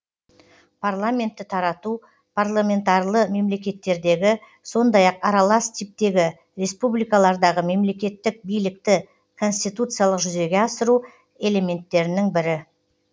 парламентті тарату парламентарлы мемлекеттердегі сондай ақ аралас типтегі республикалардағы мемлекеттік билікті конституциялық жүзеге асыру элементтерінің бірі